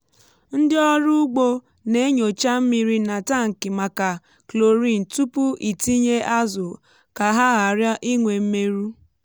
ndị ọrụ ugbo na-enyocha mmiri n’atankị maka chlorine tupu itinye azụ ka ha ghara inwe mmerụ.